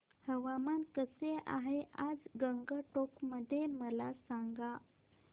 हवामान कसे आहे आज गंगटोक मध्ये मला सांगा